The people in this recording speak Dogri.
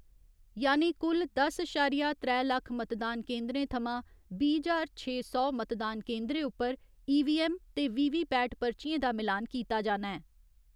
यानि कुल दस अशारिया त्रै लक्ख मतदान केन्दरें थमां बीह् ज्हार छे सौ मतदान केन्दरें उप्पर ईवीऐम्म ते वीवीपैट पर्चियें दा मिलान कीता जाना ऐ।